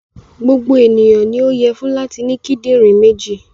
Gbogbo ènìyàn ni ó yẹ fún láti ní kíńdínrìn méjì.